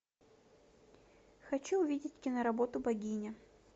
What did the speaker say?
хочу увидеть киноработу богиня